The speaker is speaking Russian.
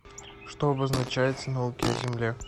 что обозначается науки о земле